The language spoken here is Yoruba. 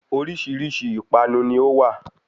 Oríṣìíríṣìí ìpanu ni ó wá.